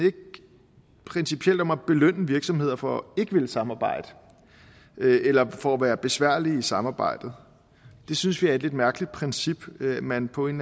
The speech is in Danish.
principielt ikke om at belønne virksomheder for ikke at ville samarbejde eller for at være besværlige i samarbejdet det synes vi er et lidt mærkeligt princip man på en